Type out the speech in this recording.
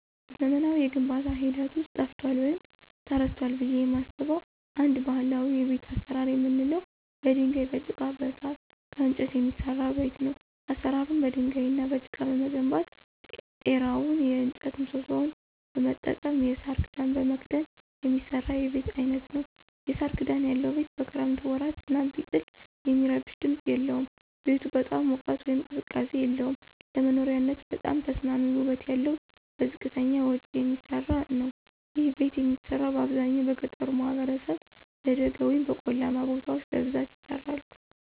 በዘመናዊ የግንባታ ሂደት ውስጥ ጠፍቷል ወይም ተረስቷል ብየ የማስበው አንድ ባህላዊ የቤት አሰራር የምንለው በድንጋይ፣ በጭቃ፣ ከሳር፣ ከእንጨት የሚሰራ ቤት ነው። አሰራሩም በድንጋይ እና በጭቃ በመገንባት ጤራውን የእጨት ምሰሶዎች በመጠቀም የሳር ክዳን በመክደን የሚሰራ የቤት አይነት ነዉ። የሳር ክዳን ያለው ቤት በክረምት ወራት ዝናብ ቢጥል የሚረብሽ ድምፅ የለውም። ቤቱ በጣም ሙቀት ወይም ቅዝቃዜ የለውም። ለመኖሪያነት በጣም ተስማሚ ውበት ያለው በዝቅተኛ ወጭ የሚሰራ ነዉ። ይህ ቤት የሚሰራው በአብዛኛው በገጠሩ ማህበረሰብ በደጋ ወይም በቆላማ ቦታዎች በብዛት ይሰራሉ።